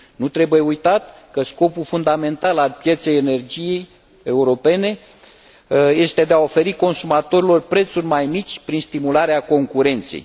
Nu trebuie uitat că scopul fundamental al pieței energiei europene este de a oferi consumatorilor prețuri mai mici, prin stimularea concurenței.